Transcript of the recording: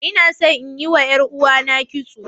Ina so inyi wa ƴar ɗan'uwana kitso.